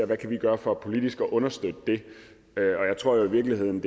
vi kan gøre for politisk at understøtte det og jeg tror i virkeligheden